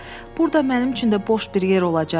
Burda mənim üçün də boş bir yer olacaq?